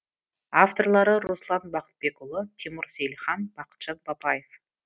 авторлары руслан бақытбекұлы тимур сейілхан бақытжан бапаев